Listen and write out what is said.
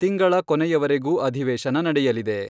ತಿಂಗಳ ಕೊನೆಯವರೆಗೂ ಅಧಿವೇಶನ ನಡೆಯಲಿದೆ.